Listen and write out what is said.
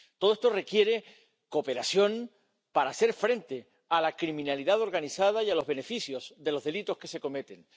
Todo esto requiere cooperación para hacer frente a la criminalidad organizada y a los beneficios de los delitos que se cometen.